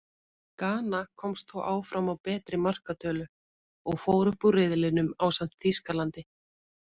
Gana komst þó áfram á betri markatölu, og fór upp úr riðlinum ásamt Þýskalandi.